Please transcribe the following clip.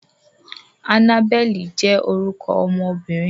Annabel jẹ́ órukọ ọmọbirin